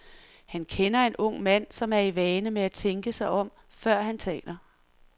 Han kender en ung mand, som er i vane med at tænke sig om, før han taler.